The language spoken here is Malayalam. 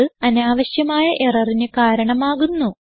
അത് അനാവശ്യമായ എററിന് കാരണമാകുന്നു